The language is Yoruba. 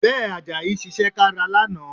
Bẹ́ẹ̀, Àjàyí ṣiṣẹ́ kára lánàá